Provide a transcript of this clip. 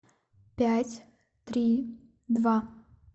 пять три два